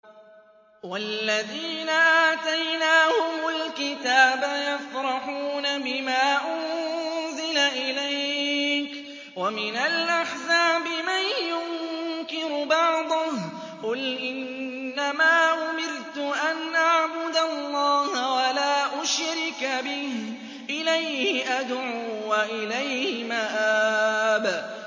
وَالَّذِينَ آتَيْنَاهُمُ الْكِتَابَ يَفْرَحُونَ بِمَا أُنزِلَ إِلَيْكَ ۖ وَمِنَ الْأَحْزَابِ مَن يُنكِرُ بَعْضَهُ ۚ قُلْ إِنَّمَا أُمِرْتُ أَنْ أَعْبُدَ اللَّهَ وَلَا أُشْرِكَ بِهِ ۚ إِلَيْهِ أَدْعُو وَإِلَيْهِ مَآبِ